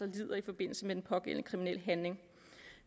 lider i forbindelse med den pågældende kriminelle handling